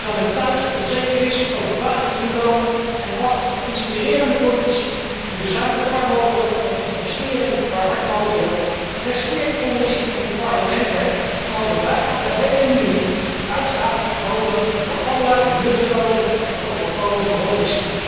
Terwijl men thuis onzeker is over baan en inkomen, en wacht op inspirerende politici die bezuinigen waar mogelijk en investeren waar hard nodig is, presteren de Commissie en het Parlement het om over bijna de hele linie de uitgaven te verhogen voor allerlei nutteloze en overbodige hobby's.